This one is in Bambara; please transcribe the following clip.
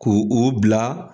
Ko u' bila.